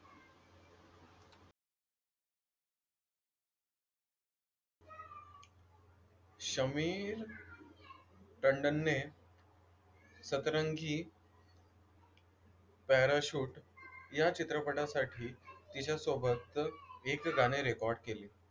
शमीर टंडनने सतरंगी पॅराशूट या चित्रपटासाठी तिच्यासोबत एक गाणे रेकॉर्ड केले.